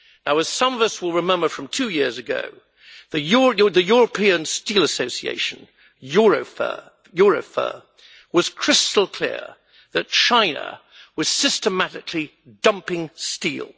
As some of us will remember from two years ago, the European Steel Association, EUROFER, was crystal clear that China was systematically dumping steel.